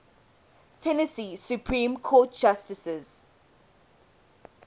tennessee supreme court justices